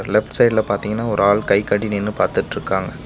Left சைடுல பாத்திங்கன ஒரு ஆள் கை கட்டி நின்னு பாத்துட்ருக்காங்க.